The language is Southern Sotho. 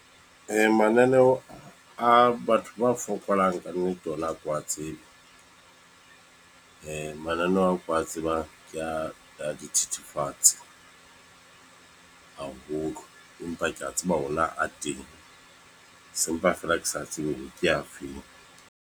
Mananeo a batho ba fokolang, ka nnete ona ha ke wa tsebe. Mananeo ao ke wa tsebang, ke a dithethefatse haholo. Empa ke a tseba ona a teng. Sempa feela ke sa tsebe hore ke afeng.